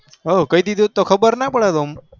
હ કઈ દીધું હોય તો ખબર ન પડત ઓમ